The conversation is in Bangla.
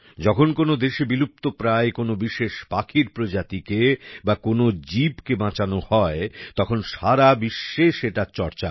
যখন কোন দেশে বিলুপ্তপ্রায় কোন বিশেষ পাখির প্রজাতিকে বা কোন জীবকে বাঁচানো হয় তখন সারা বিশ্বে সেটার চর্চা হয়